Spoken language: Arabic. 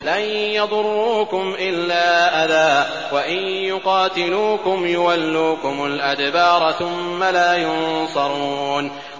لَن يَضُرُّوكُمْ إِلَّا أَذًى ۖ وَإِن يُقَاتِلُوكُمْ يُوَلُّوكُمُ الْأَدْبَارَ ثُمَّ لَا يُنصَرُونَ